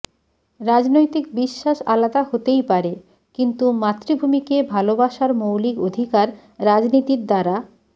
রাজনৈতিক বিশ্বাস আলাদা হতেই পারে কিন্তু মাতৃভূমিকে ভালবাসার মৌলিক অধিকার রাজনীতির দ্বারা